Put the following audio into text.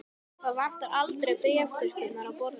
Það vantaði aldrei bréfþurrkurnar á borði hans.